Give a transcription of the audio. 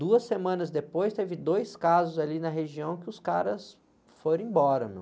Duas semanas depois, teve dois casos ali na região que os caras foram embora, meu.